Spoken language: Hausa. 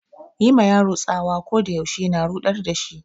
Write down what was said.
Yi ma yaro tsawa ko da yaushe na ruɗar da shi.